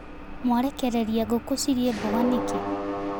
Mwarekereria ngũkũ cirĩe mboga nĩkĩ.